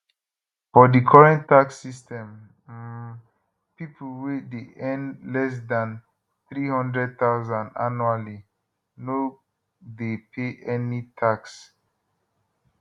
for dicurrent tax system um pipo wey dey earn less dan 300000 annually no dey pay any tax